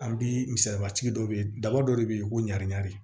An bi misali sigi dɔ be yen daba dɔ de be yen ko ɲarani ɲari